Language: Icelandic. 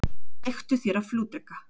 Leiktu þér að flugdreka.